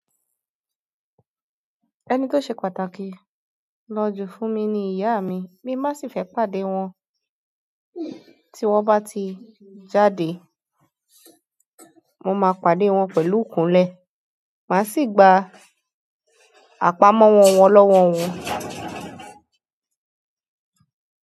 Ẹni tó ṣe pàtàkì lójú fún mi ni ìyá mi, mi má sì fẹ́ pàdé wọn. Tí wọ́n bá ti jáde, mo máa pàdé wọn pẹ̀lú kùnlẹ́, mà sì gba àpamọ́ wọn lọ́wọ́ wọn.